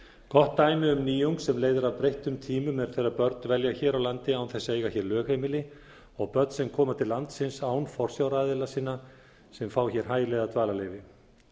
gott dæmi um nýjung sem leiðir af breyttum tímum er þegar börn dvelja hér á landi án þess að eiga hér lögheimili og börn sem koma til landsins án forsjáraðila sinna sem fá hér hæli eða dvalarleyfi